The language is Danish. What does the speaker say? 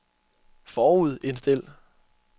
forudindstil